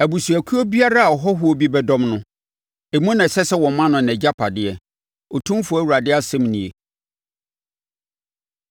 Abusuakuo biara a ɔhɔhoɔ bi bɛdɔm no, emu na ɛsɛ sɛ woma no nʼagyapadeɛ,” Otumfoɔ Awurade asɛm nie.